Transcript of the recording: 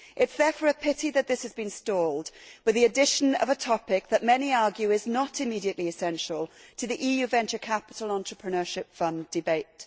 It is therefore a pity that this has been stalled with the addition of a topic that many argue is not immediately essential to the EU Venture Capital and Entrepreneurship Fund debate.